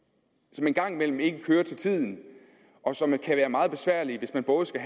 som en gang imellem ikke kører til tiden og som kan være meget besværlige hvis man både skal